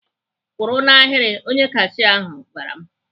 "Kwụrụ n'ahịrị!" Onye kashia ahụ gwara m.